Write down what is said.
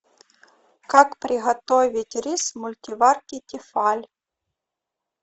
как приготовить рис в мультиварке тефаль